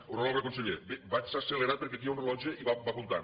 honorable conseller bé vaig accelerat perquè aquí hi ha un rellotge i va comptant